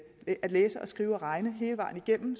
læse skrive og regne hele vejen igennem